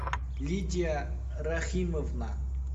лидия рахимовна